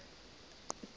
ya ka e ile ya